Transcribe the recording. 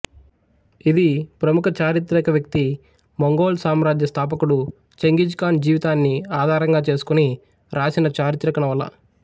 ఇది ప్రముఖ చారిత్రిక వ్యక్తి మంగోల్ సామ్రాజ్య స్థాపకుడు ఛెంఘిజ్ ఖాన్ జీవితాన్ని ఆధారంగా చేసుకుని రాసిన చారిత్రిక నవల